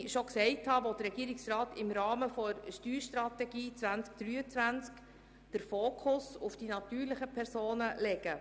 Wie ich gesagt habe, will der Regierungsrat im Rahmen der Steuerstrategie 2023 den Fokus auf die natürlichen Personen richten.